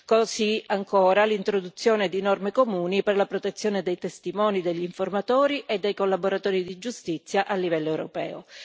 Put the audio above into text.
così come l'introduzione di norme comuni per la protezione dei testimoni degli informatori e dei collaboratori di giustizia a livello europeo.